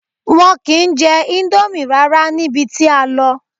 Wọn ki n jẹ ińdómì rárá níbi tí a lọ.